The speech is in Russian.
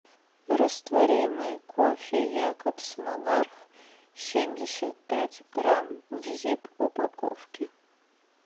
растворимый кофе якобс монарх семьдесят пять грамм в зип упаковке